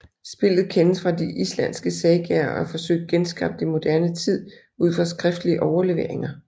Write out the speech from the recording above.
Spillet kendes fra de islandske sagaer og er forsøgt genskabt i moderne tid ud fra skriftlige overleveringer